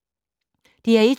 DR1